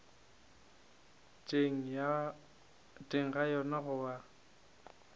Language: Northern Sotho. teng ga yona go a